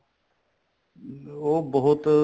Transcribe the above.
ਉਹ ਬਹੁਤ